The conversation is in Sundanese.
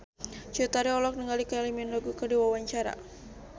Cut Tari olohok ningali Kylie Minogue keur diwawancara